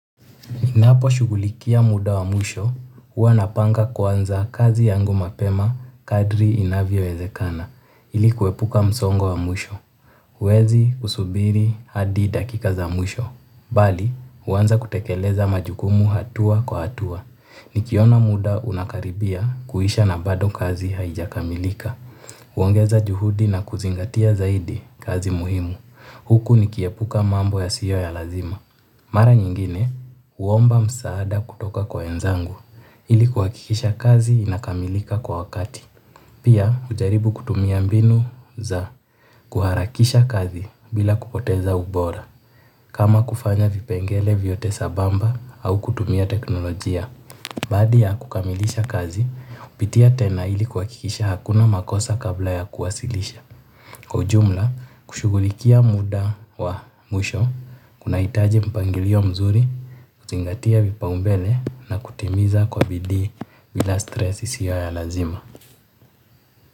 Ninapo shugulikia muda wa mwisho, huwa napanga kwanza kazi yangu mapema kadri inavyo wezekana, ilikuwepuka msongo wa mwisho. Huwezi kusubiri hadi dakika za mwisho. Bali, huanza kutekeleza majukumu hatua kwa hatua. Nikiona muda unakaribia kuisha na bado kazi haija kamilika. Huongeza juhudi na kuzingatia zaidi kazi muhimu. Huku nikiepuka mambo yasiyo ya lazima mara nyingine, huomba msaada kutoka kwa wenzangu ili kuhakikisha kazi inakamilika kwa wakati. Pia, hujaribu kutumia mbinu za kuharakisha kazi bila kupoteza ubora. Kama kufanya vipengele vyote sambamba kama kutumia teknologia baada ya kukamilisha kazi hupitia tena ili kuhakikisha hakuna makosa kabla ya kuwasilisha. Kwa ujumla, kushughulikia muda wa mwisho, kuna hitaji mpangilio mzuri, kuzingatia vipao mbele na kutimiza kwa bidii ila stress siyo ya lazima.